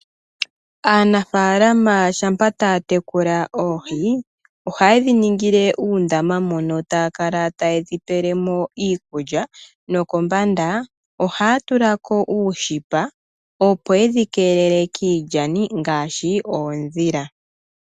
Aanafaalama ngele taya tekula oohi, ohaye dhiningile uundama moka taya kala taye dhi pele mo iikulya. Kombanda ohaya tula ko uushipa opo yedhi kelele kiilyani ngaashi oondila.